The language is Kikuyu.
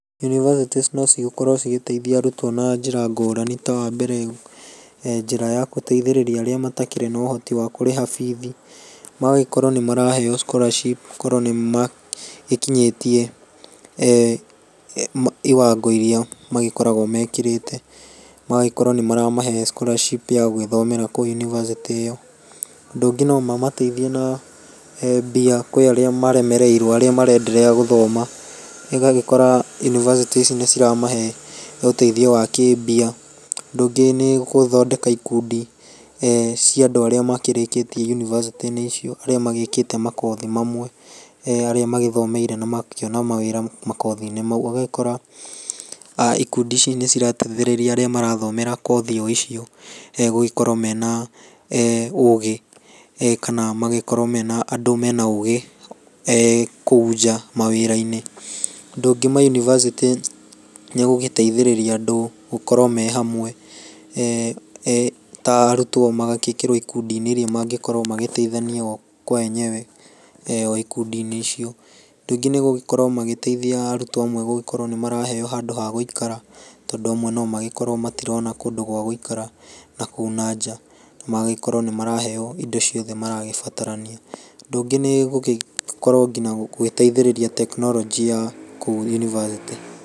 Yũnĩbacĩtĩ nĩ cigĩkorwo cigĩteithia arutwo na njĩra ngũrani, ta wambere, njĩra ya gũteithĩrĩria arĩa matakĩrĩ na ũhoti wa kũrĩha bithi. Magagĩkorwo nĩmaraheyo scholarship, okorwo nĩmagĩkinyĩtie e, iwango iria magĩkoragwo mekĩrĩte, magagĩkorwo nĩmaramahe scholarship ya gũgĩthomera yũnibacĩtĩ ĩyo. Ũndũ ũngĩ no mamateithie na mbia, kwĩ arĩa maremereirwo arĩa marenderea gũthoma, ĩgagĩkora yuninacĩtĩ ici nĩ ciramahe ũteithio wa kĩmbia. Ũndũ ũngĩ nĩ gũthondeka ikundi, e, cia andũ arĩa makĩrĩkĩtie yunibacĩtĩ-inĩ icio, arĩa magĩkĩte makothi mamwe. Arĩa magĩthomeire na magakĩona mawĩra makothi-inĩ mau. Ũgakora ikundi ici nĩ cirateithĩrĩria arĩa mareka makothi o icio gũkorwo mena ũgĩ, kana magĩkorwo mena andũ mena ũgĩ, kũu nja mawĩra-inĩ. Ũndũ ũngĩ mayunibacitĩ nĩ gũgĩteithĩrĩria andũ gũkorwo mehamwe, e, ta arutwo magagĩkĩrwo ikundi-inĩ iria mangĩkorwo magĩteithania oo kwa wenyewe ikundi-inĩ icio. Ũndũ ũngĩ nĩmakoragwo magĩteithia arutwo amwe gũgĩkorwo nĩmaraheyo handũ hagũikara. Andũ amwe nomagĩkorwo matirona handũ hagũgĩikara na kuu nanja. Magagĩkorwo nĩ marakaheyo indo ciothe maragĩbatarania. Ũndũ ũngĩ nĩ gũgĩkorwo ngĩna gũteithĩrĩria tekinoronjĩ ya kũu yunibacĩtĩ.